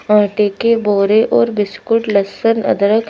आटे के बोरे और बिस्कुट लहसुन अदरक--